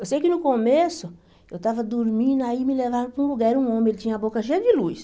Eu sei que no começo, eu estava dormindo, aí me levaram para um lugar, um homem, ele tinha a boca cheia de luz.